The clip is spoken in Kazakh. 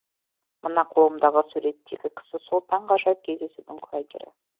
мына қолымдағы суреттегі кісі сол таңғажайып кездесудің куәгері